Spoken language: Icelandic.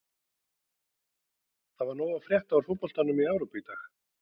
Það var nóg að frétta úr fótboltanum í Evrópu í dag.